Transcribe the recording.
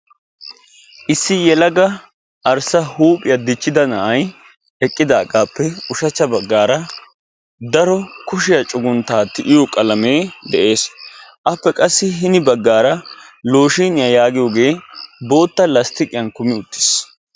Issi yelaga arssa huuphiya dichchida na'aay eqqidagappe ushshachcha baggaara daro kushiya cugguntta tiyiyo qalamee de'ees. appe qa hini baggaara loshiniya yaagiyoge boottaa lasttiqiyan kumi uttiis.